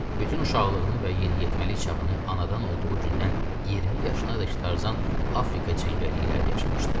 Bütün uşaqlığını və yeniyetməlik çağını anadan olduğu gündən 20 yaşına qədər Tarzan Afrika cəngəlliklərində yaşamışdı.